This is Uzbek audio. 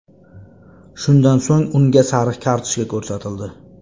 Shundan so‘ng unga sariq kartochka ko‘rsatildi.